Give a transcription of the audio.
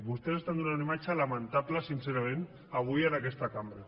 vostès estan donant una imatge lamentable sincerament avui en aquesta cambra